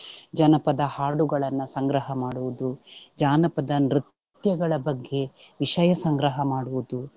ಜನಪದ ಹಾಡುಗಳನ್ನ ಸಂಗ್ರಹ ಮಾಡುವುದು, ಜಾನಪದ ನೃತ್ಯಗಳ ಬಗ್ಗೆ ವಿಷಯ ಸಂಗ್ರಹ ಮಾಡುವುದು.